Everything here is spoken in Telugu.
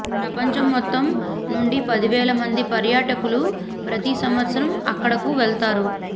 ప్రపంచం మొత్తం నుండి పదివేల మంది పర్యాటకులు ప్రతి సంవత్సరం అక్కడకు వెళ్తారు